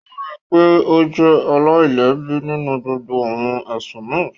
Wọ́n rí i pé ó jẹ́ aláìlẹ́bi nínú gbogbo awọn ẹsun náà